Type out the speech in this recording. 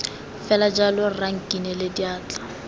fela jalo rra nkinele diatla